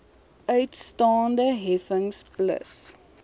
uitstaande heffings plus